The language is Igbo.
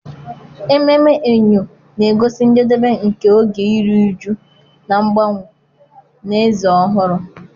Ememme Eyo na-egosi njedebe nke oge iru ụjụ na mgbanwe na eze ọhụrụ.